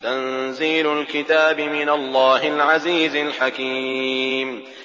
تَنزِيلُ الْكِتَابِ مِنَ اللَّهِ الْعَزِيزِ الْحَكِيمِ